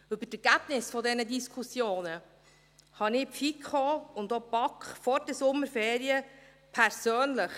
Über die Ergebnisse dieser Diskussionen informierte ich die FiKo und auch die BaK vor den Sommerferien persönlich.